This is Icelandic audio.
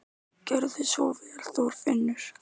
Gerðu svo vel, Þorfinnur!